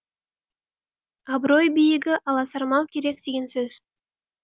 абырой биігі аласармау керек деген сөз